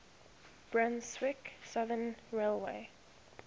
brunswick southern railway